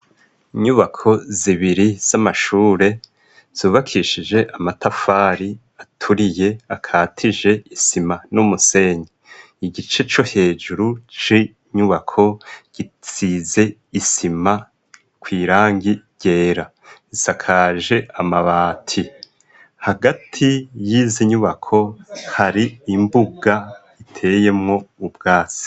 Inyubako zibiri z'amashure zubakishije amatafari aturiye akatije isima n'umusenyi. Igice co hejuru c'inyubako gisize isima kw'irangi ryera, zisakaje amabati. Hagati y'izi nyubako hari imbuga iteyemwo ubwatsi.